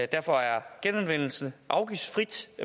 derfor er genanvendelse afgiftsfrit